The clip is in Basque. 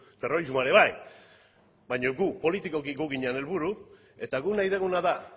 terrorismoa ere bai baino gu politikoki gu ginen helburu eta gu nahi duguna da